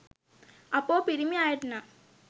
අපෝ පිරිමි අයට නම්